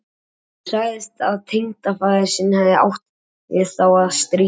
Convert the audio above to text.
Hún sagði að tengdafaðir sinn hefði átt við þá að stríða.